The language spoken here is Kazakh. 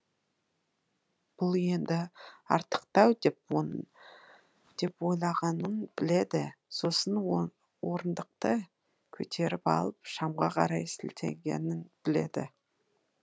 бұл енді артықтау деп ойлағанын біледі сосын орындықты көтеріп алып шамға қарай сілтегенін біледі